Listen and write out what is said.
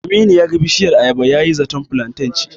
Aminu ya ga bishiyar ayaba yayi zaton filanten ce.